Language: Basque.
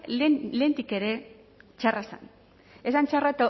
hau lehendik ere txarra zen txarra